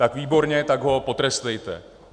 Tak výborně, tak ho potrestejte.